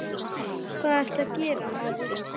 Hvað ertu að gera, maður?